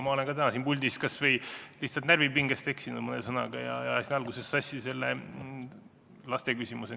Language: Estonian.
Ma olen täna siin puldis kas või lihtsalt närvipingest eksinud mõne sõnaga, ajasin alguses sassi selle lasteküsimuse.